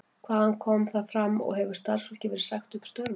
Hvað kom þar fram og hefur starfsfólki verið sagt upp störfum?